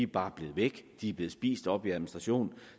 bare blevet væk de er blevet spist op i administration